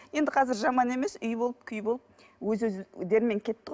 енді қазір жаман емес үй болып күй болып өз өздерімен кетті ғой